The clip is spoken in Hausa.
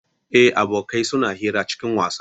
Eh, abokai suna hira cikin wasa